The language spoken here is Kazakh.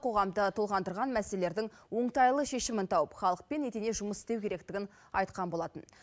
қоғамды толғандырған мәселелердің оңтайлы шешімін тауып халыкпен екіге жұмыс істеу керектігін айтқан болатын